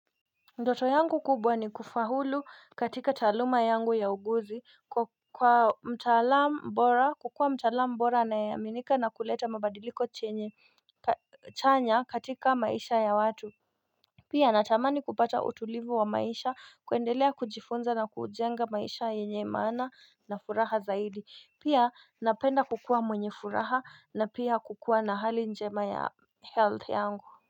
Ndoto yangu kubwa ni kufaulu katika taaluma yangu ya uuguzi kwa mtalam bora kukua mtalam bora anayeaminika na kuleta mabadiliko chanya katika maisha ya watu Pia natamani kupata utulivu wa maisha kuendelea kujifunza na kujenga maisha yenye maana na furaha zaidi pia napenda kukua mwenye furaha na pia kukua na hali njema ya health yangu.